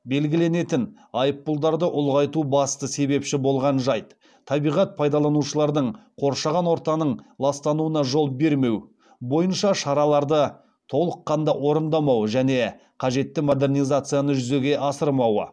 белгіленетін айыппұлдарды ұлғайтуға басты себепші болған жайт табиғат пайдаланушылардың қоршаған ортаның ластануына жол бермеу бойынша шараларды толыққанды орындамауы және қажетті модернизацияны жүзеге асырмауы